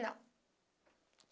Não.